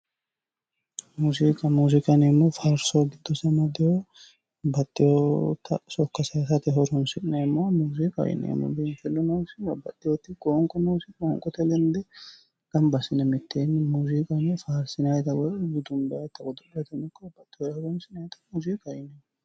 Muziiqu muziiqa yineemohu faariso giddose amadewoho babbaxewota sokka sayisate horonisi'neemota muziiqa yineemohu babbaxewoti qooniqo noosi qooniqoye lenidde ganibba assine miteeni Qolle faarisinayita woyi dudunibbayitano ikko babbaxewori horoni'sinayita muziqaho yineemo